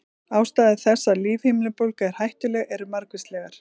Ástæður þess að lífhimnubólga er hættuleg eru margvíslegar.